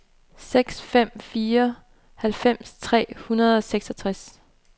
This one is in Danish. seks fem fem fire halvfems tre hundrede og seksogtres